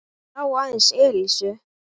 Hann sá aðeins Elísu.